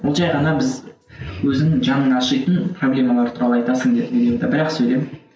ол жай ғана біз өзің жаның ашитын проблемалар туралы айтасың деді видеода бір ақ сөйлем